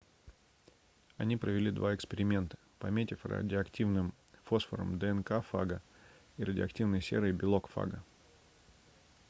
они провели два эксперимента пометив радиоактивным фосфором днк фага и радиоактивной серой белок фага